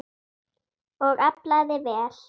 Og aflaði vel.